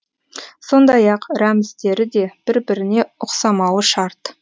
сондай ақ рәміздері де бір біріне ұқсамауы шарт